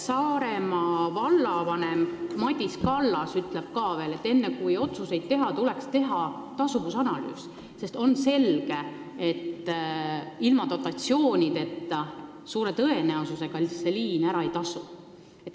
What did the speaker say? Saaremaa vallavanem Madis Kallas on ka öelnud, et enne kui otsuseid teha, tuleks teha tasuvusanalüüs, sest on selge, et ilma dotatsioonideta see liin suure tõenäosusega ära ei tasu.